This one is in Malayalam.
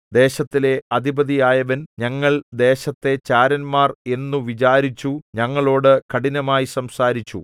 ദേശത്തിലെ അധിപതിയായവൻ ഞങ്ങൾ ദേശത്തെ ചാരന്മാർ എന്നു വിചാരിച്ചു ഞങ്ങളോടു കഠിനമായി സംസാരിച്ചു